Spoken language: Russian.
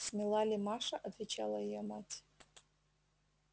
смела ли маша отвечала её мать